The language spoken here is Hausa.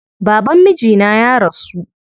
Baban mijina ya rasu.